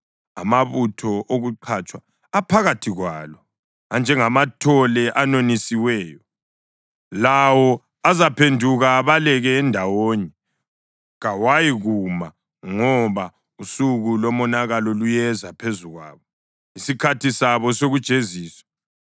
Amabutho okuqatshwa aphakathi kwalo anjengamathole anonisiweyo. Lawo azaphenduka abaleke endawonye, kawayikuma, ngoba usuku lomonakalo luyeza phezu kwabo, isikhathi sabo sokujeziswa.